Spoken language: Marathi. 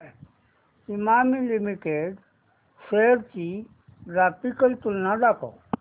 इमामी लिमिटेड शेअर्स ची ग्राफिकल तुलना दाखव